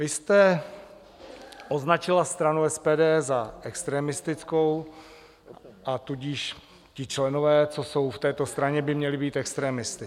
Vy jste označila stranu SPD za extremistickou, a tudíž ti členové, co jsou v této straně, by měli být extremisty.